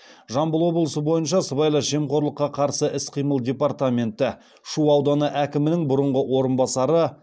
жамбыл облысы бойынша сыбайлас жемқорлыққа қарсы іс қимыл департаменті шу ауданы әкімінің бұрынғы орынбасары